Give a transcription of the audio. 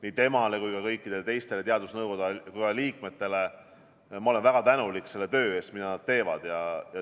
Nii temale kui ka kõikidele teistele teadusnõukoja liikmetele ma olen väga tänulik selle töö eest, mida nad teevad.